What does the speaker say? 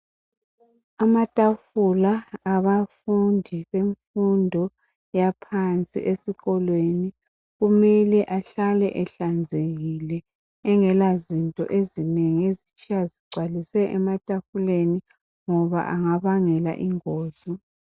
Amatafula abafundi bemfundo yaphansi esikolweni kumele ahlale ehlanzekile, engelazinto ezinengi ezitshiywa zigcwaliswe ematafuleni ngoba angabangela ingozi.